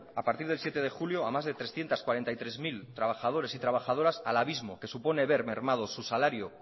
a partir del siete de julio a más de trescientos cuarenta y tres mil trabajadores y trabajadoras al abismo que supone ver mermados su salario